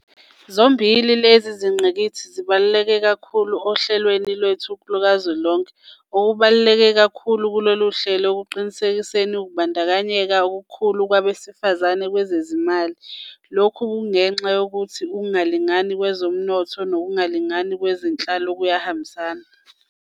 Zombili lezi zingqikithi zibaluleke kakhulu ohlelweni lwethu lukazwelonke. Okubaluleke kakhulu kulolu hlelo kusekuqinisekiseni ukubandakanyeka okukhulu kwabe sifazane kwezezimali. Lokhu kungenxa yokuthi ukungalingani kwezomnotho nokungalingani kwezenhlalo kuyahambisana.